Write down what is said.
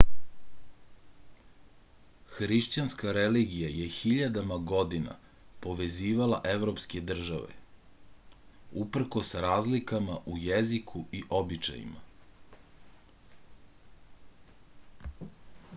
hrišćanska religija je hiljadama godina povezivala evropske tržave uprkos razlikama u jeziku i običajima